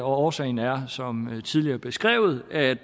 årsagen er som tidligere beskrevet at